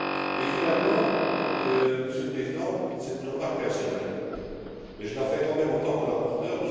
Et finalement, Monsieur le Président, c'est une remarque personnelle, mais je la fais quand même en tant que rapporteur.